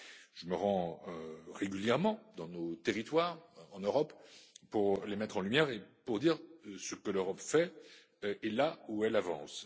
Je me rends régulièrement dans nos territoires en Europe pour les mettre en lumière et pour dire ce que l'Europe fait et là où elle avance.